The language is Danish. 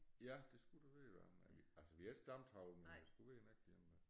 Ja det skulle det være da men vi altså vi har ikke stamtavlen men det skulle være en ægte én da